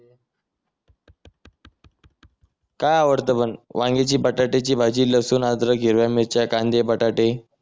काय आवडत पण वांग्याची बटाट्याची भाजी लसूण अदरक हिरव्या मिरच्या कांदे बटाटे